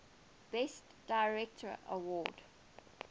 best director award